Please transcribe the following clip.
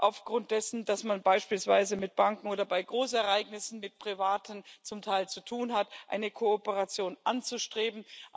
aufgrund dessen, dass man beispielsweise mit Banken oder bei Großereignissen zum Teil mit Privaten zu tun hat, eine Kooperation anzustreben.